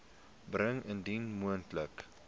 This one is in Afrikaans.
bring indien moontlik